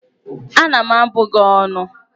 Ana m abụ gị ónù!